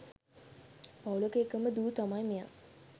පවුලක එකම දූ තමයි මෙයා.